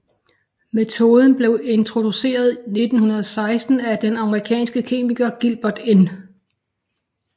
Metoden blev introduceret 1916 af den amerikanske kemiker Gilbert N